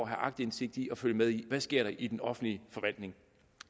have aktindsigt i og følge med i der sker i den offentlige forvaltning